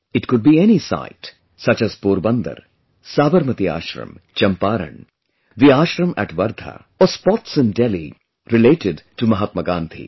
It could be any site... such as Porbandar, Sabarmati Ashram, Champaran, the Ashram at Wardha or spots in Delhi related to Mahatma Gandhi